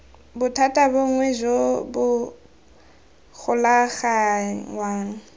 bothata bongwe jo bo golaganngwang